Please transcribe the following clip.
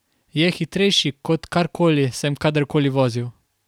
Je hitrejši kot karkoli sem kadarkoli vozil.